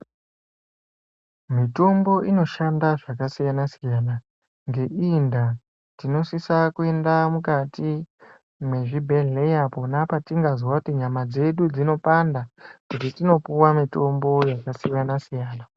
Mitombo inoshanda zvakasiyana siyana. Ngeii ndaa tinosisa kuenda mukati mwezvibhedheya pona patingazwa kuti nyama dzedu dzinopanda kuti tinopuwa mutombo yakasiyana siyana.